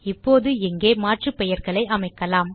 இப்போது இங்கே மாற்றுப்பெயர்களை அமைக்கலாம்